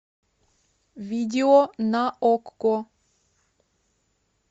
видео на окко